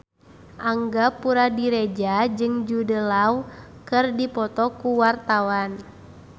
Angga Puradiredja jeung Jude Law keur dipoto ku wartawan